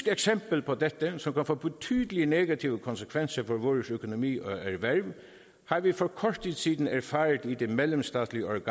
eksempel på dette som kan få betydelige negative konsekvenser på vores økonomi og erhverv har vi for kort tid siden erfaret i det mellemstatslige